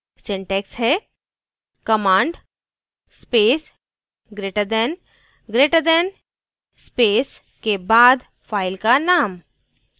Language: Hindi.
syntax हैः command space greater than greater than space के बाद फाइल का नाम